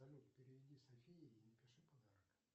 салют переведи софии и напиши подарок